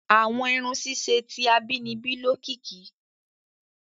Àwọn irun ṣiṣe ti abínibí lokiki.